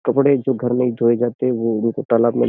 कपड़े जो घर नहीं धोए जाते वो उनको तालाब में --